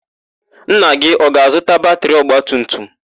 Nna gị ọ ga-azụta batịrị ọgbatumtum?